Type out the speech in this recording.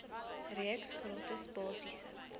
reeks gratis basiese